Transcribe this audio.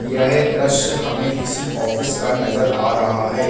यह दृश्य हमें किसी ऑफिस का नजर आ रहा है।